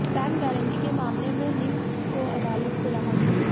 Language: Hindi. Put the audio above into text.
बैंक गारंटी मामले में निम्बस को अदालत से राहत